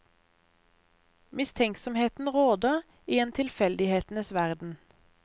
Mistenksomheten råder i en tilfeldighetenes verden.